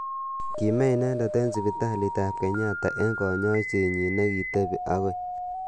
Kime inendet eng sipitalit ab Kenyatta eng kanyoiset nyi nekitebi akoi.